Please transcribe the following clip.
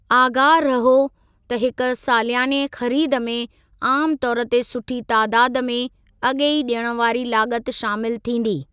आगाह रहो त हिक सालियाने खरीद में आमु तौर ते सुठी तादादु में अॻेई ॾियण वारी लाॻति शामिल थींदी।